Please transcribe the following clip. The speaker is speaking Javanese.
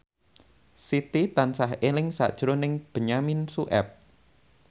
Siti tansah eling sakjroning Benyamin Sueb